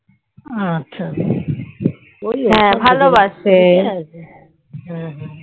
আচ্ছা আচ্ছা